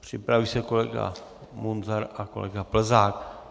Připraví se kolega Munzar a kolega Plzák.